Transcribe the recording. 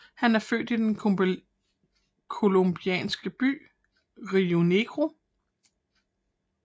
Han er født i den colombianske by Rionegro